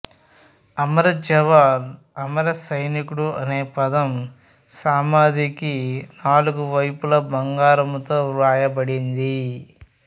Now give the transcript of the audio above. అమర జవాన్ అమర సైనికుడు అనే పదం సమాధికి నాలుగు వైపులా బంగారంతో వ్రాయబడింది